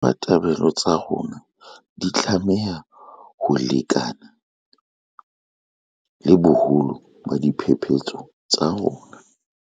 Ditabatabelo tsa rona di tlameha ho lekana le boholo ba diphephetso tsa rona.